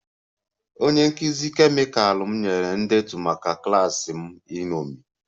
Onye nkụzi kemịkal m nyere ndetu maka klas m iṅomi